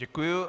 Děkuji.